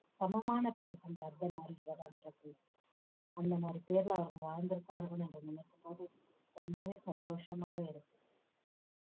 சமமான பேர் அந்த அர்த்தநாரீஸ்வரர்ன்ற பேர் அந்த மாதிரி பேருல அவர்கள் வாழ்ந்திருப்பார்கள் என்று நினைக்கும் போது ரொம்பவே சந்தோஷமாவே இருக்கு